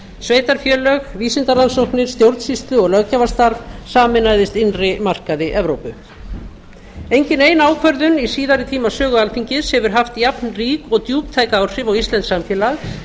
sveitarfélög vísindarannsóknir stjórnsýslu og löggjafarstarf sameinaðist innri markaði evrópu engin ein ákvörðun í síðari tíma sögu alþingis hefur haft jafnrík og djúptæk áhrif á íslenskt samfélag